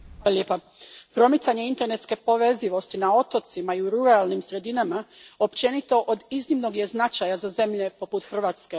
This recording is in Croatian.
Gospođo predsjednice, promicanje internetske povezivosti na otocima i u ruralnim sredinama općenito od iznimnog je značaja za zemlje poput Hrvatske.